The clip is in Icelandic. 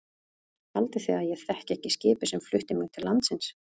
Haldið þið að ég þekki ekki skipið sem flutti mig til landsins.